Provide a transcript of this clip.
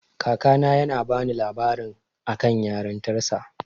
Kakana yana bani labarin akan yarintarsa.